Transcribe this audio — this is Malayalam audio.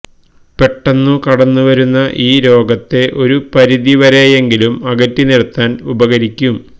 പെട്ടെന്നു കടന്നു വരുന്ന ഈ രോഗത്തെ ഒരു പരിധി വരെയെങ്കിലും അകറ്റി നിര്ത്താന് ഉപകരിക്കും